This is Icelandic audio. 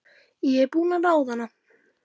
Ég er búin að ráða hana!